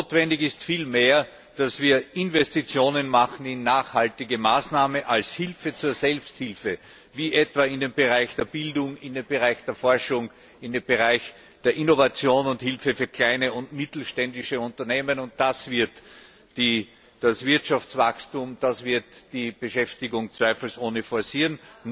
Notwendig ist vielmehr, dass wir Investitionen machen in nachhaltige Maßnahmen als Hilfe zur Selbsthilfe, wie etwa in den Bereich der Bildung, in den Bereich der Forschung, in den Bereich der Innovation und Hilfe für kleine und mittelständische Unternehmen. Das wird das Wirtschaftswachstum und die Beschäftigung zweifelsohne forcieren.